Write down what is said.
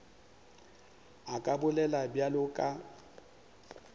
a ka bolela bjalo ka